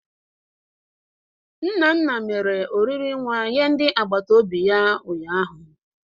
Nnanna mere oriri nwa nye ndị agbataobi ya ụnyaahụ.